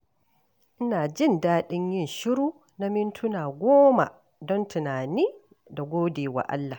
Ina jin daɗin yin shiru na mintuna goma don tunani da gode wa Allah.